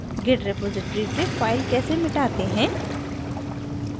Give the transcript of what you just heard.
git repository से file कैसे मिटाते हैं